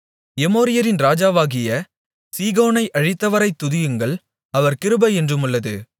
எமோரியரின் ராஜாவாகிய சீகோனை அழித்தவரைத் துதியுங்கள் அவர் கிருபை என்றுமுள்ளது